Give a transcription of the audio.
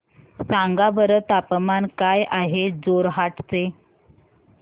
सांगा बरं तापमान काय आहे जोरहाट चे